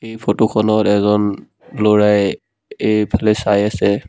এই ফটোখনত এজন ল'ৰাই এইফালে চাই আছে।